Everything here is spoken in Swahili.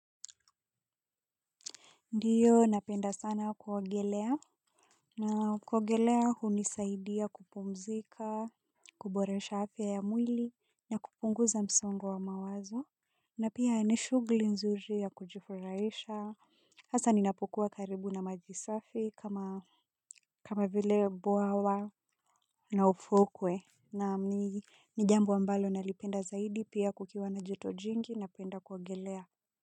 Ndio napenda sana kuogelea, na kuogelea hunisaidia kupumzika, kuboresha afya ya mwili na kupunguza msongo wa mawazo na pia ni shughuli nzuri ya kujifurahisha. Hasa ninapokuwa karibu na maji safi kama kama vile bwawa na ufukwe naam. Ni ni jambo ambalo nalipenda zaidi pia kukiwa na joto jingi napenda kuogelea.